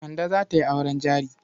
Kande za ta yi auren jari.